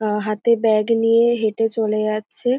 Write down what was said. আহ হাতে ব্যাগ নিয়ে হেটে চলে যাচ্ছে।